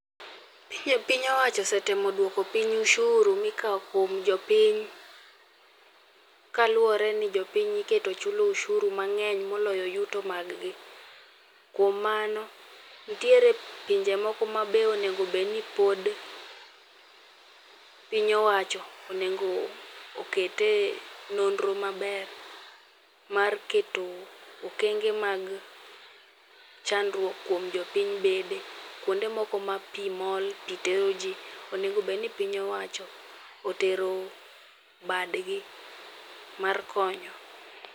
Piny owacho ose temo duoko piny osuru mikawo kuom jopiny kaluwore ni jopiny iketo chulo osuru mang'eny moloyo yuto mag gi. Kuom mano, nitiere pinje moko ma be onego bed ni pod piny owacho onego okete nonro maber mar keto okenge mag chandruok kuom jo piny be. Kuonde moko ma pi mol, pi tero ji onego bed ni piny owacho otero badgi mar konyo.